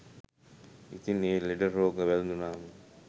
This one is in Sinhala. ඉතින් ඒ ලෙඩ රෝග වැලදුනාම